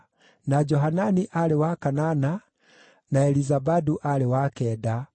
na Johanani aarĩ wa kanana, na Elizabadu aarĩ wa kenda,